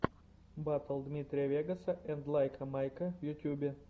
батл дмитрия вегаса энд лайка майка в ютубе